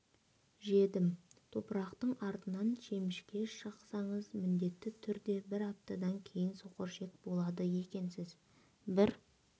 жедім топырақтың артынан шемішке шақсаңыз міндетті түрде бір аптадан кейін соқыр ішек болады екенсіз бір